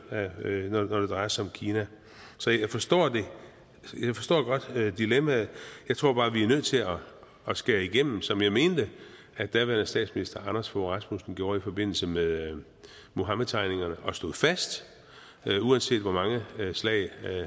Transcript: når det drejer sig om kina så jeg forstår godt dilemmaet jeg tror bare at vi er nødt til at skære igennem som jeg mente at daværende statsminister anders fogh rasmussen gjorde i forbindelse med muhammedtegningerne han stod fast uanset hvor mange slag